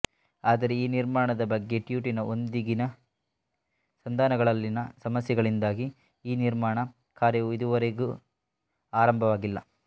ಆದರೆ ಈ ನಿರ್ಮಾಣದ ಬಗ್ಗೆ ಟ್ಸು ಟಿನಾ ಒಂದಿಗಿನ ಸಂಧಾನಗಳಲ್ಲಿನ ಸಮಸ್ಯೆಗಳಿಂದಾಗಿ ಈ ನಿರ್ಮಾಣ ಕಾರ್ಯವು ಇದುವರೆಗ ಆರಂಭವಾಗಿಲ್ಲ